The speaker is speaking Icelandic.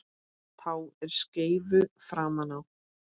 Tá er skeifu framan á.